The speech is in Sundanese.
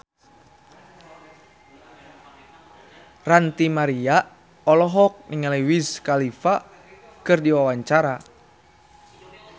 Ranty Maria olohok ningali Wiz Khalifa keur diwawancara